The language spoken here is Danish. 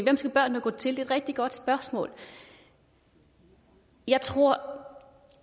skal børnene gå til et rigtig godt spørgsmål jeg tror